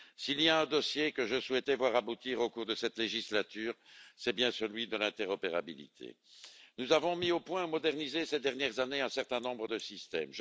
S'il y a un dossier que je souhaitais voir aboutir au cours de cette législature, c'est bien celui de l'interopérabilité. Nous avons mis au point et modernisé ces dernières années un certain nombre de systèmes.